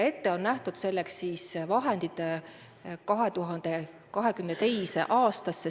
Selleks on ette nähtud vahendid 2022. aasta jaoks.